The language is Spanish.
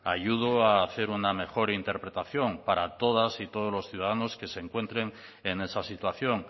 ayudo a hacer una mejor interpretación para todas y todos los ciudadanos que se encuentren en esa situación